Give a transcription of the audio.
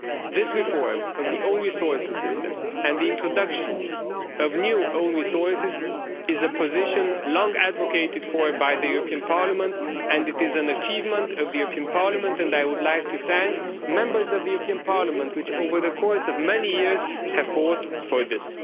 This reform of the own resources system and the introduction of new own resources is a position long advocated for by the European Parliament and it is an achievement of the European Parliament and I would like to thank Members of the European Parliament, who over the course of many years have fought for this.